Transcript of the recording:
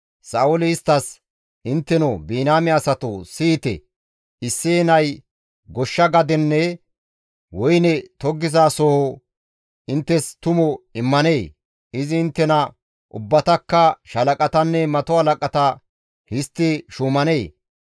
Sa7ooli isttas, «Intteno Biniyaame asatoo siyite! Isseye nay goshsha gadenne woyne tokkizasoho inttes tumu immanee? Izi inttena ubbatakka shaalaqatanne mato halaqata histti shuumanee?